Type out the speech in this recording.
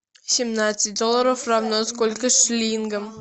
семнадцать долларов равно сколько шиллингам